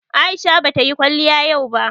Aisha bata yi kwaliya yau ba